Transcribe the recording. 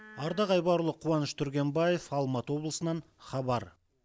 ардақ айбарұлы қуаныш түргенбаев алматы облысынан хабар